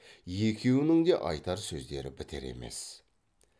екеуінің де айтар сөздері бітер емес